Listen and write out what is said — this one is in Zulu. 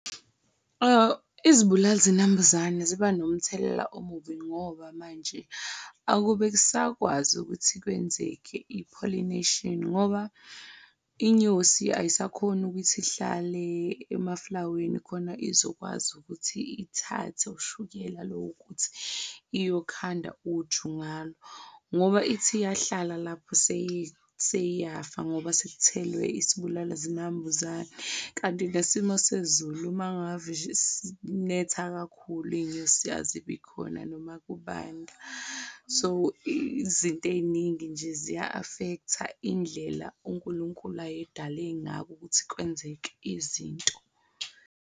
Izibulali zinambuzane ziba nomthelela omubi ngoba manje akube kusakwazi ukuthi kwenzeke i-pollination, ngoba inyosi ayisakhoni ukuthi ihlale emaflaweni khona izokwazi ukuthi ithathe ushukela lowo ukuthi iyokhanda uju ngalo, ngoba ithi iyahlala lapho seyiyafa ngoba sekuthelwe isibulala zinambuzane. Kanti nesimo sezulu mangave nje sinetha kakhulu iyinyosi azibi khona noma kubanda, so izinto eyiningi nje ziya-affect-a indlela uNkulunkulu ayedale ngako ukuthi kwenzeke izinto.